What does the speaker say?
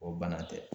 O bana tɛ